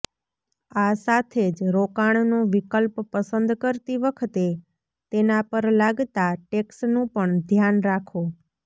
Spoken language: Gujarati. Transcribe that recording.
આ સાથે જ રોકાણનો વિકલ્પ પસંદ કરતી વખતે તેના પર લાગતા ટેક્સનું પણ ધ્યાન રાખો